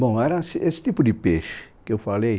Bom, era es esse tipo de peixe que eu falei.